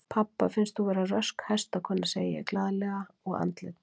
Pabba finnst þú vera rösk hestakona, segi ég glaðlega og andlit